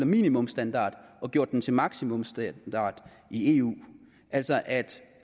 minimumsstandard og gjort den til maksimumsstandard i eu altså